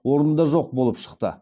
орнында жоқ болып шықты